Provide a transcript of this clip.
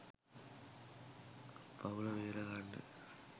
පව්ල බේරගන්න